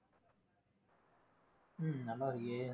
உம் நல்லா இருக்கே.